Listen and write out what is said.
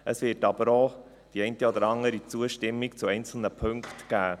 Es wird aber auch die eine oder andere Zustimmung zu einzelnen Punkten geben.